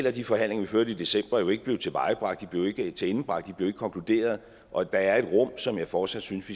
at de forhandlinger vi førte i december ikke blev tilvejebragt de blev ikke tilendebragt de blev ikke konkluderet og der er et rum som jeg fortsat synes